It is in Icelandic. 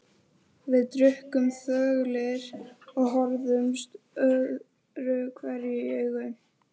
Við drukkum þöglir og horfðumst öðruhverju í augu.